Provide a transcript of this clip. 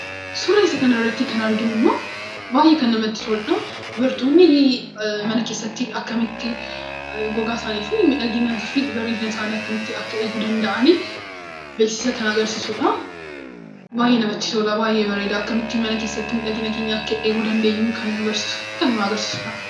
Suuraa kana irratti kan arginu baayyee kan namatti toluu dha. Dubartoonni mana kessatti akkamiin gogaa fi miidhagina isaanii akka eeguu qaban kan agarsiisuu dha. Innis baayyee kan namatti toluu fi nama hawwatuu dha.